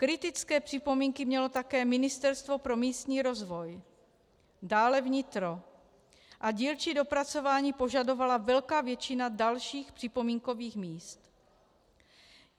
Kritické připomínky mělo také Ministerstvo pro místní rozvoj, dále vnitro a dílčí dopracování požadovala velká většina dalších připomínkových míst.